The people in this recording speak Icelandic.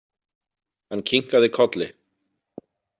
Hann kinkaði kolli.